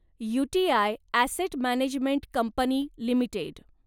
UTI asset management company limited